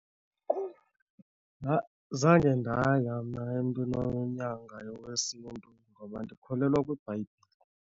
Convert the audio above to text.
Zange ndaya mna emntwini onyangayo wesiNtu ngoba ndikholelwa kwiBhayibhile.